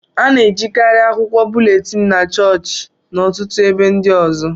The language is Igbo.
a na-ejikarị akwụkwọ búlétin na chọọchị na ọtụtụ ebe ndị ọzọ